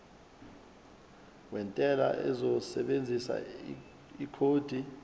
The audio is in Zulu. wentela uzosebenzisa ikhodi